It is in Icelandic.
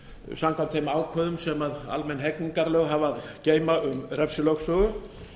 samkvæmt þeim ákvæðum sem almenn hegningarlög hafa að geyma um refsilögsögu